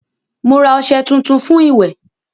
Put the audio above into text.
Mo ra ọṣẹ tuntun fún ìwẹ̀